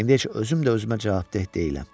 İndi heç özüm də özümə cavabdeh deyiləm.